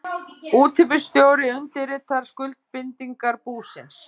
Útibússtjóri undirritar skuldbindingar búsins.